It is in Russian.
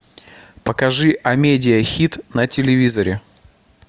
покажи амедиа хит на телевизоре